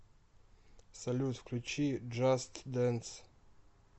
салют включи джаст дэнс